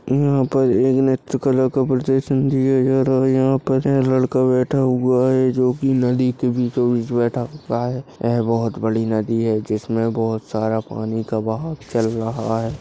यहाँ पर एक नृत्यकला का प्रदर्शन दिया जा रहा है यहाँ पर एक लड़का बैठा हुआ है जो कि नदी के बीचो बीच बैठा हुआ है एह बहुत बड़ी नदी है जिसमें बहुत सारा पानी का बहाव चल रहा है।